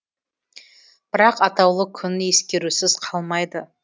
бірақ атаулы күн ескерусіз қалмайды